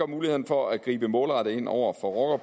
mulighederne for at gribe målrettet ind over for